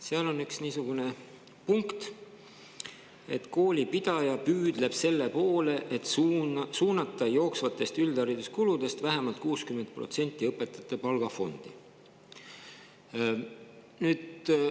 Seal on üks niisugune punkt, et kooli pidaja püüdleb selle poole, et suunata jooksvatest üldhariduskuludest vähemalt 60% õpetajate palgafondi.